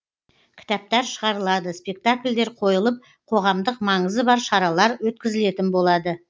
кітаптар шығарылады спектакльдер қойылып қоғамдық маңызы бар шаралар өткізілетін болады